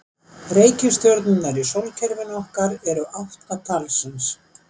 Reikistjörnurnar í sólkerfinu okkar eru átta talsins.